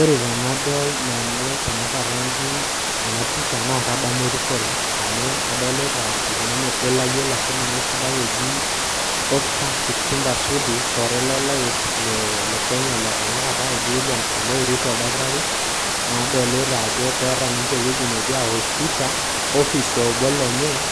Ore tenadol nanu tanakata iji enapisha, na kadamu erikore amu adolita oltung'ani obo layiolo ake esidai oji Oscar Kipchumba Sudi, shore lo lais le Kenya le tanakata oji William Samoei Ruto oldakitari, nadolita ajo keeta ninche ewoji netii awosh pisha, ofis eobo lenye,